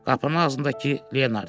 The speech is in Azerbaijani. Qapının ağzındakı Leonard idi.